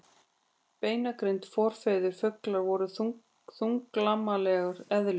Beinagrind Forfeður fugla voru þunglamalegar eðlur.